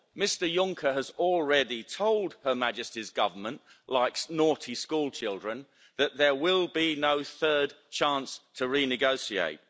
Mr Juncker has already told Her Majesty's Government like naughty schoolchildren that there will be no third chance to renegotiate.